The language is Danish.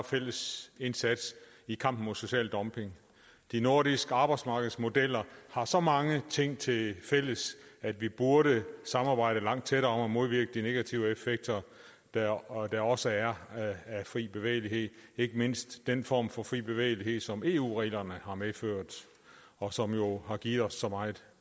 fælles indsats i kampen mod social dumping de nordiske arbejdsmarkedsmodeller har så mange ting til fælles at vi burde samarbejde langt tættere om at modvirke de negative effekter der også også er af fri bevægelighed ikke mindst den form for fri bevægelighed som eu reglerne har medført og som jo har givet os så meget